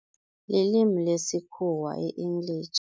Lilimi lesikhuwa, i-English.